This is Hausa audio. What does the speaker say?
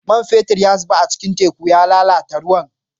Man fetur ya zube cikin teku ya lalata ruwan